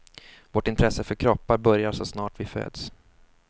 Vårt intresse för kroppar börjar så snart vi föds.